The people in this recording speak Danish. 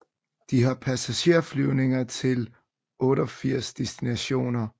De har passagerflyvninger til 88 destinationer